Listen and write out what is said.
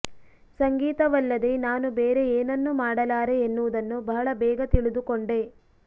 ಸಂಗೀತವಲ್ಲದೆ ನಾನು ಬೇರೆ ಏನನ್ನೂ ಮಾಡಲಾರೆ ಎನ್ನುವುದನ್ನು ಬಹಳ ಬೇಗ ತಿಳಿದುಕೊಂಡೆ